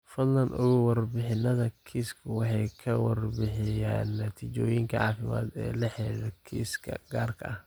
Fadlan ogow, warbixinnada kiisku waxay ka warbixiyaan natiijooyinka caafimaad ee la xidhiidha kiisaska gaarka ah.